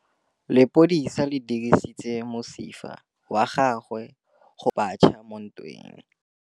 Lepodisa le dirisitse mosifa wa gagwe go phatlalatsa batšha mo ntweng.